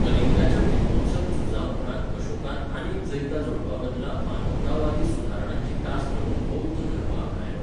कलिंगाच्या विध्वंसक झुजाउपरांत अशोकान आनीक जैतां जोडपाबदला मानवतावादी सुदारणांची कास धरून बौध्द धर्म आपणायलो.